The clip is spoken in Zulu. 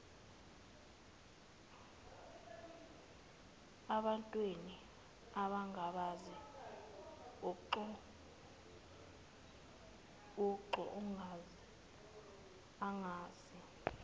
ebantwin ongabazi uxoloangazi